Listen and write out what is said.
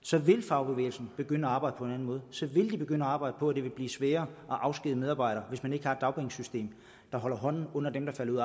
så vil fagbevægelsen begynde at arbejde på en anden måde så vil de begynde at arbejde på at det vil blive sværere at afskedige medarbejdere hvis man ikke har et dagpengesystem der holder hånden under dem der falder ud